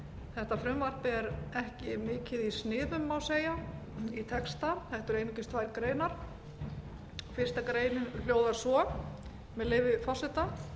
þetta frumvarp er ekki mikið í sniðum má segja í texta þetta eru einungis tvær greinar fyrstu grein hljóðar svo með leyfi forseta